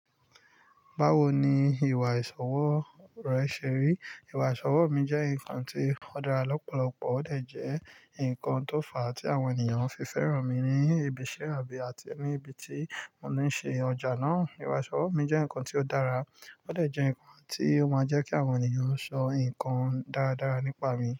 Báwo ni ìwà ìsọ̀wọ́ rẹ ṣe rí? Ìwà ìsọ̀wọ́ mi jẹ́ nǹkan tí ó dára lọ́pọ̀lọpọ̀, ó de jẹ nǹkan tó fà á tí àwọn ènìyàn fi fẹ́ràn mi ní ibiṣẹ́ àbí àti níbi tí mo ní ń ṣe ọjà náà. Ìwà ìsọ̀wọ̀ mi jẹ́ nǹkan tí ó dára, ó de jẹ nǹkan tí ó máa ń jẹ́ kí àwọn ènìyàn o ṣọ nkan dáradára nípa mi.